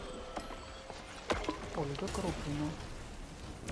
ольга крупина